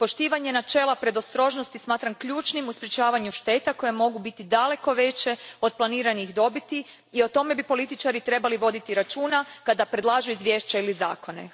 Poštivanje načela predostrožnosti smatram ključnim u sprječavanju šteta koje mogu biti daleko veće od planiranih dobiti i o tome bi političari trebali voditi računa kada predlažu izvješća ili zakone.